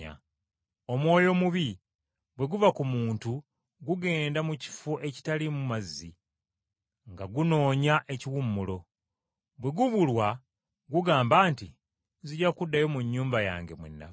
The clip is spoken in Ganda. “Omwoyo ogutali mulongoofu bwe guva mu muntu guyita mu malungu nga gunoonya aw’okuwummulira. Bwe gubulwa, gugamba nti, ‘Nzija kuddayo mu nnyumba mwe nava.’